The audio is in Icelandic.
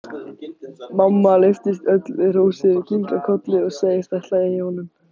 Mamma lyftist öll við hrósið, kinkar kolli og segist ætla í honum.